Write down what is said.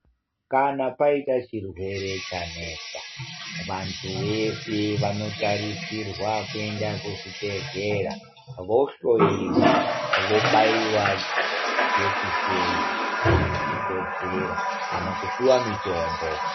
Kana paita chirwere chanetsa, vantu veshe vanotarisirwa kuenda kuzvibhedhlera, vohloyiwa, vobaiwa jekiseni kana zvichikodzera kana kupiwa mitombo.